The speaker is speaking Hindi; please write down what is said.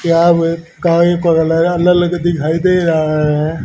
यहां में दिखाई दे रहा है।